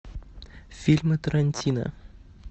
фильмы тарантино